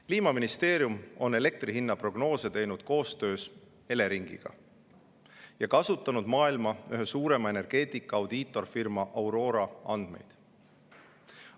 Kliimaministeerium on elektri hinna prognoose teinud koostöös Eleringiga ja kasutanud maailma ühe suurima energeetika audiitorfirma Aurora andmeid.